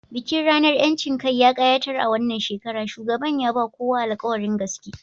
Bikin ranar 'yancin kai ya kayatar a wannan shekara, shugaban ya ba kowa alƙawarin gaske